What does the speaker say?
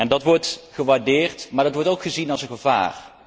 Dat wordt gewaardeerd, maar dat wordt ook gezien als een gevaar.